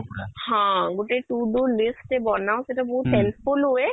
ହଁ, ଗୋଟେ to do list ଟେ ବନାଅ ସେଇଟା ବହୁତ helpful ହୁଏ